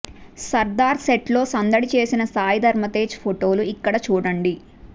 సర్దార్ సెట్లో సందడి చేసిన సాయిధరమ్ తేజ ఫొటోలు ఇక్కడ చూడండి